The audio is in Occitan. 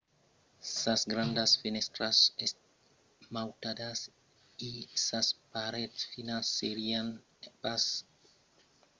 sas grandas fenèstras esmautadas e sas parets finas serián pas estadas capablas de resistir a una ataca determinada fòrça temps